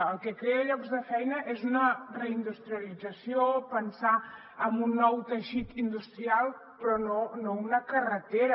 el que crea llocs de feina és una reindustrialització pensar en un nou teixit industrial però no una carretera